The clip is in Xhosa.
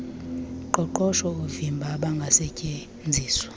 qoqosho oovimba obangasetyenziswa